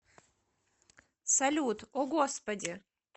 салют о господи